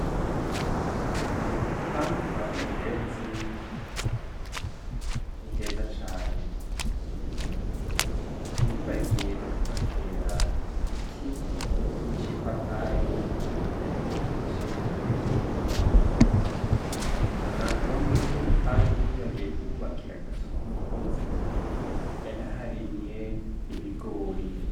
Mu rupangu kwa mendezi ni heza cane ntiyibagiye no kuhatera ibiti nk'icipapayi n'icindimu no muri urwo rupangu ntiyibagiye kuhubakira akazu k'umukozi yanaharimye ibigori.